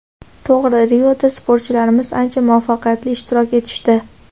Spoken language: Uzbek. To‘g‘ri, Rioda sportchilarimiz ancha muvaffaqiyatli ishtirok etishdi.